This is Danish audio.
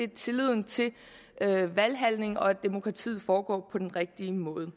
tilliden til at valghandlingen og demokratiet foregår på den rigtige måde